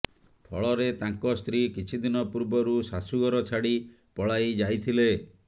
ଫଳରେ ତାଙ୍କ ସ୍ତ୍ରୀ କିଛି ଦିନ ପୂର୍ବରୁ ଶାଶୁ ଘର ଛାଡ଼ି ପଳାଇ ଯାଇଥିଲେ